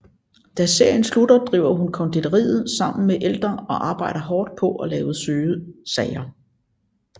Da serien slutter driver hun konditoriet sammen med Elder og arbejder hårdt på at lave søde sager